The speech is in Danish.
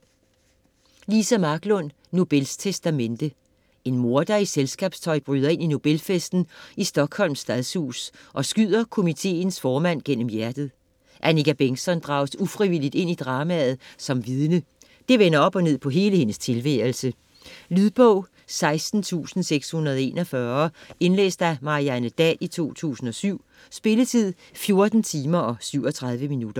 Marklund, Liza: Nobels testamente En morder i selskabstøj bryder ind i Nobelfesten i Stockholms Stadshus og skyder komiteens formand gennem hjertet. Annika Bengtzon drages ufrivilligt ind i dramaet som vidne. Det vender op og ned på hele hendes tilværelse. Lydbog 16641 Indlæst af Marianne Dahl, 2007. Spilletid: 14 timer, 37 minutter.